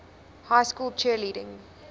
high school cheerleading